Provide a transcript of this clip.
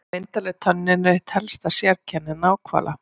Myndarleg tönnin er eitt helsta sérkenni náhvala.